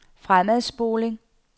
fremadspoling